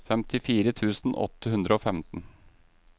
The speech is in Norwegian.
femtifire tusen åtte hundre og femten